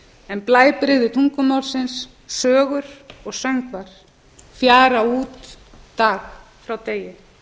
en blæbrigði tungumálsins sögur og söngvar fjara út dag frá degi